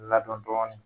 Ladɔn